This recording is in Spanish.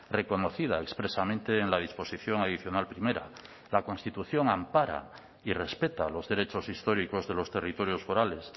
reconocida expresamente en la disposición adicional primera la constitución ampara y respeta los derechos históricos de los territorios forales